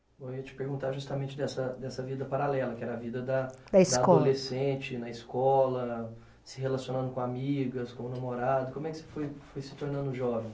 Eu ia te perguntar justamente dessa dessa vida paralela, que era a vida da, da escola, da adolescente na escola, se relacionando com amigas, com o namorado, como é que você foi foi se tornando jovem?